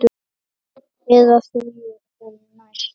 Eða því sem næst.